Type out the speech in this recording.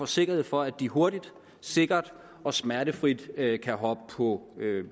sikkerhed for at de hurtigt sikkert og smertefrit kan kan hoppe på